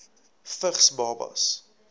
vigs babas